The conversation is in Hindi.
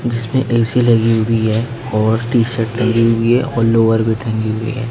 इसमें ए_सी लगी हुई है और टी शर्ट टंगी हुई है और लोवर भी टंगी हुई है।